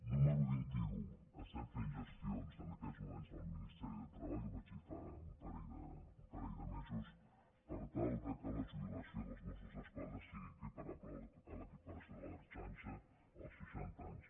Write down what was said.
número vint un estem fent gestions en aquests moments amb el ministeri de treball i ho vaig dir fa un parell de mesos per tal que la jubilació dels mossos d’esquadra sigui equiparable a la jubilació de l’ertzaintza als seixanta anys